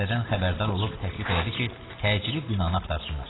Məsələdən xəbərdar olub təklif elədi ki, təcili binanı axtarsınlar.